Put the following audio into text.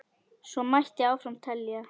Svo mætti áfram telja.